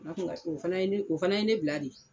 Na kun O fana ye ne o fana ye ne bila de.